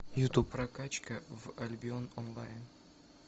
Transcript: ютуб прокачка в альбион онлайн